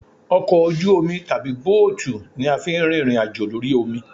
Ọkọ ojú omi tàbí bóòtù ni a fi ń rìnrìn àjò lórí omi